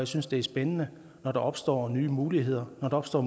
synes det er spændende når der opstår nye muligheder når der opstår